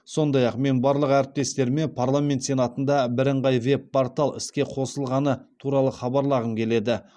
сондай ақ мен барлық әріптестеріме парламент сенатында бірыңғай веб портал іске қосылғаны туралы хабарлағым келеді